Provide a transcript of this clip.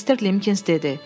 Mister Limkins dedi: